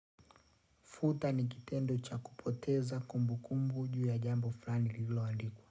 Futa ni kitendo cha kupoteza kumbukumbu juu ya jambo fulani lililoandikuwa.